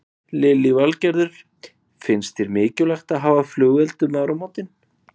Lillý Valgerður: Finnst þér mikilvægt að hafa flugelda um áramótin?